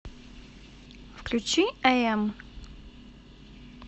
включи айэм